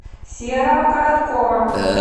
серого короткова